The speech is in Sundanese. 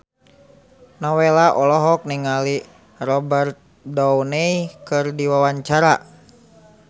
Nowela olohok ningali Robert Downey keur diwawancara